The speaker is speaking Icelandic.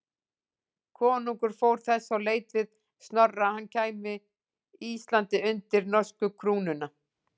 Konungur fór þess á leit við Snorra að hann kæmi Íslandi undir norsku krúnuna.